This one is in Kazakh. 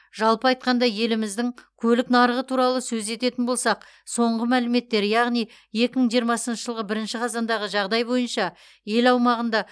жалпы айтқанда еліміздің көлік нарығы туралы сөз ететін болсақ соңғы мәліметтер яғни екі мың жиырмасыншы жылғы бірінші қазандағы жағдай бойынша ел аумағында